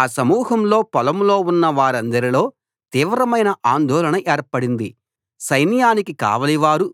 ఆ సమూహంలో పొలంలో ఉన్నవారందరిలో తీవ్రమైన ఆందోళన ఏర్పడింది సైన్యానికి కావలివారు